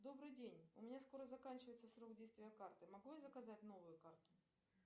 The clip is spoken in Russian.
добрый день у меня скоро заканчивается срок действия карты могу я заказать новую карту